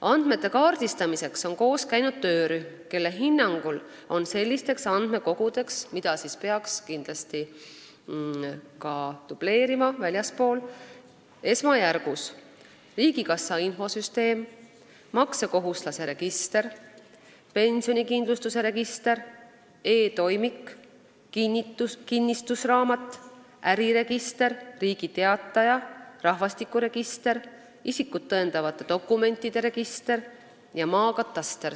Andmete kaardistamiseks on koos käinud töörühm, kelle hinnangul on sellisteks andmekogudeks, mida peaks kindlasti ka väljaspool dubleerima, esmajärjekorras riigikassa infosüsteem, maksukohustuslaste register, pensionikindlustuse register, e-toimik, kinnistusraamat, äriregister, Riigi Teataja, rahvastikuregister, isikut tõendavate dokumentide register ja maakataster.